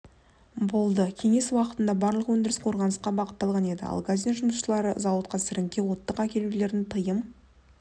болды кеңес уақытында барлық өндіріс қорғанысқа бағытталған еді алгазин жұмысшылардың зауытқа сіріңке оттық әкелулерін тыйым